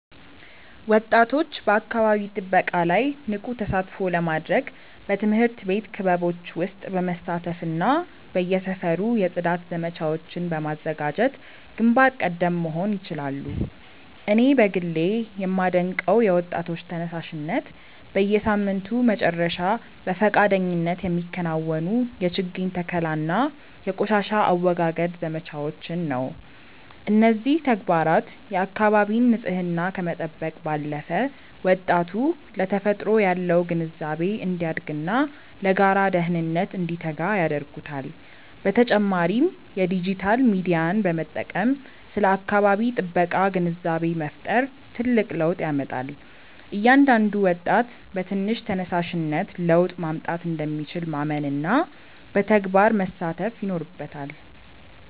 ወጣቶች በአካባቢ ጥበቃ ላይ ንቁ ተሳትፎ ለማድረግ በትምህርት ቤት ክበቦች ውስጥ በመሳተፍና በየሰፈሩ የጽዳት ዘመቻዎችን በማዘጋጀት ግንባር ቀደም መሆን ይችላሉ። እኔ በግሌ የማደንቀው የወጣቶች ተነሳሽነት፣ በየሳምንቱ መጨረሻ በፈቃደኝነት የሚከናወኑ የችግኝ ተከላና የቆሻሻ አወጋገድ ዘመቻዎችን ነው። እነዚህ ተግባራት የአካባቢን ንፅህና ከመጠበቅ ባለፈ፣ ወጣቱ ለተፈጥሮ ያለው ግንዛቤ እንዲያድግና ለጋራ ደህንነት እንዲተጋ ያደርጉታል። በተጨማሪም የዲጂታል ሚዲያን በመጠቀም ስለ አካባቢ ጥበቃ ግንዛቤ መፍጠር ትልቅ ለውጥ ያመጣል። እያንዳንዱ ወጣት በትንሽ ተነሳሽነት ለውጥ ማምጣት እንደሚችል ማመንና በተግባር መሳተፍ ይኖርበታል።